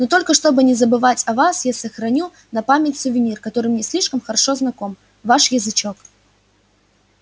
но только чтобы не забывать о вас я сохраню на память сувенир который мне слишком хорошо знаком ваш язычок